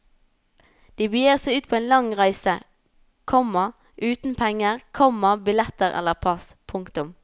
De begir seg ut på en lang reise, komma uten penger, komma billetter eller pass. punktum